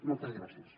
moltes gràcies